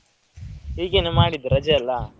ಹೀಗೇನೆ ಮಾಡಿದ್ದು ರಜೆ ಅಲ್ಲ.